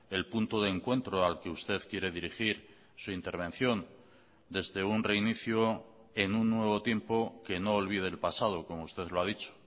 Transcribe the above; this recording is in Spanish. el punto de encuentro al que usted quiere dirigir su intervención desde un reinicio en un nuevo tiempo que no olvide el pasado como usted lo ha dicho